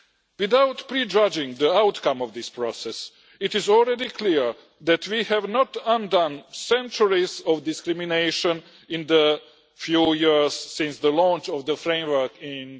Without prejudging the outcome of this process, it is already clear that we have not undone centuries of discrimination in the few years since the launch of the framework in